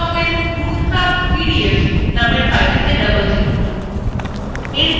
desktopএর route map PDF নামের ফাইলটিতে double click করুন